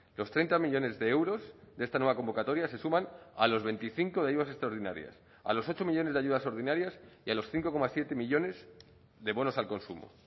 los treinta millónes de euros de esta nueva convocatoria se suman a los veinticinco de ayudas extraordinarias a los ocho millónes de ayudas ordinarias y a los cinco coma siete millónes de bonos al consumo